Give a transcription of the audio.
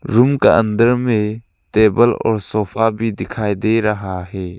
Room का अंदर में टेबल और सोफा भी दिखाई दे रहा है।